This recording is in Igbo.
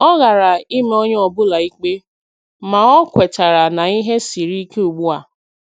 O ghara ịma onye ọ bụla ikpe, ma ọ kwetara na ihe siri ike ugbu a